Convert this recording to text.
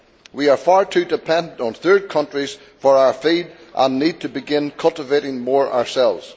We are far too dependent on third countries for our feed and need to begin cultivating more ourselves.